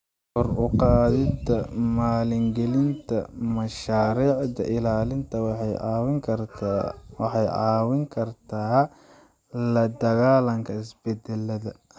Kor u qaadida maalgelinta mashaariicda ilaalinta waxay caawin kartaa la dagaallanka isbedelada.